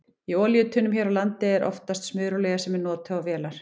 Í olíutunnum hér á landi er oftast smurolía sem er notuð á vélar.